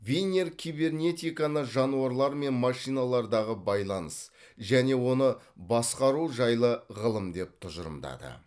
винер кибернетиканы жануарлар мен машиналардағы байланыс және оны басқару жайлы ғылым деп тұжырымдады